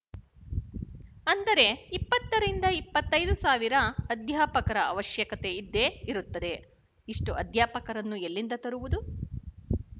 ಅಂದರೆ ಇಪ್ಪತ್ತು ರಿಂದ ಇಪ್ಪತ್ತ್ ಐದು ಸಾವಿರ ಅಧ್ಯಾಪಕರ ಅವಶಯಕತೆ ಇದ್ದೇ ಇರುತ್ತದೆ ಇಷ್ಟು ಅಧ್ಯಾಪಕರನ್ನು ಎಲ್ಲಿಂದ ತರುವುದು